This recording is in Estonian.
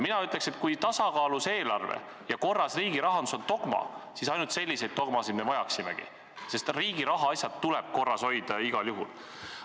Mina ütleks, et kui tasakaalus eelarve ja korras riigirahandus on dogma, siis ainult selliseid dogmasid me vajamegi, sest riigi rahaasjad tuleb korras hoida igal juhul.